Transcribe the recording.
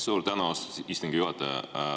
Suur tänu, austatud istungi juhataja!